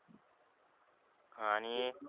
ह आणि,